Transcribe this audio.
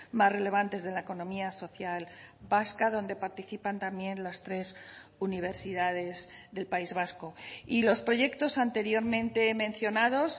más relevantes de la economía social vasca donde participan también las tres universidades del país vasco y los proyectos anteriormente mencionados